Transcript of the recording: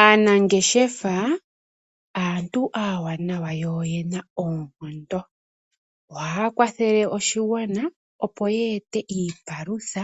Aanangeshefa aantu aawanawa yo oyena oonkondo. Ohaya kwathele oshigwana opo ye ete iipalutha